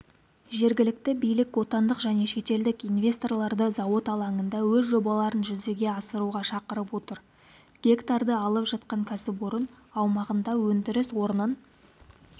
жергілікті билік отандық және шетелдік инвесторларды зауыт алаңында өз жобаларын жүзеге асыруға шақырып отыр гектарды алып жатқан кәсіпорын аумағында өндіріс орнын